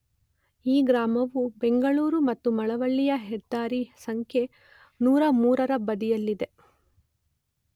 ಈ ಗ್ರಾಮವು ಬೆಂಗಳೂರು ಮತ್ತು ಮಳವಳ್ಳಯ ಹೆದ್ದಾರಿ ಸಂಖ್ಯೆ ೨೦೩ ರ ಬದಿಯಲ್ಲಿದೆ.